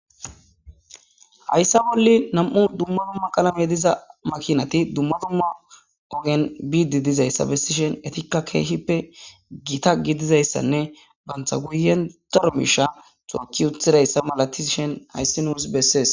Hayssa bolli nam7u dumma dumma qalame diza makinati dumma dumma ogen biidi dizayssa bessishen etikka keehippe gita gidizayssanne bantha guyendaro misha cookki uthidayssa malatishen hayssi nuus beses.